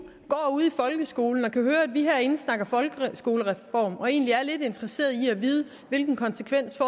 ude i folkeskolen og kan høre at vi herinde snakker folkeskolereform og egentlig er lidt interesserede i at vide hvilken konsekvens